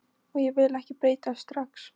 Og ég vil ekki breytast strax.